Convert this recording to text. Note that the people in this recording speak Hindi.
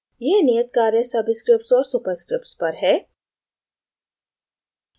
यह नियत कार्य subscripts और superscripts पर है